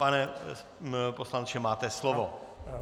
Pane poslanče, máte slovo.